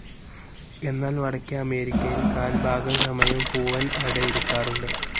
എന്നാൽ വടക്കേ അമേരിക്കയിൽ കാൽ ഭാഗം സമയം പൂവൻ അടയിരിക്കാറുണ്ട്.